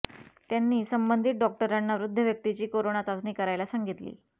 त्यांनी संबंधित डॉक्टरांना वृद्ध व्यक्तीची कोरोना चाचणी करायला सांगितली